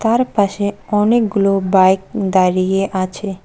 তার পাশে অনেকগুলো বাইক দাঁড়িয়ে আছে।